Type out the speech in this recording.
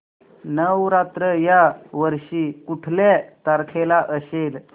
नवरात्र या वर्षी कुठल्या तारखेला असेल